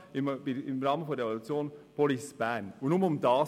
Und nur darum ging es.